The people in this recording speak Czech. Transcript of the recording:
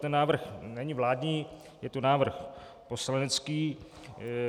Ten návrh není vládní, je to návrh poslanecký.